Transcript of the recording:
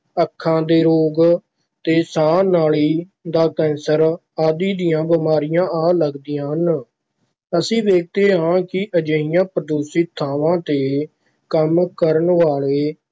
ਅੱਖਾਂ ਦੇ ਰੋਗ ਤੇ ਸਾਹ ਨਾਲੀ ਦਾ ਕੈਂਸਰ ਆਦਿ ਦੀਆਂ ਬਿਮਾਰੀਆਂ ਆ ਲੱਗਦੀਆਂ ਹਨ, ਅਸੀਂ ਵੇਖਦੇ ਹਾਂ ਕਿ ਅਜਿਹੀਆਂ ਪ੍ਰਦੂਸ਼ਿਤ ਥਾਵਾਂ ‘ਤੇ ਕੰਮ ਕਰਨ ਵਾਲੇ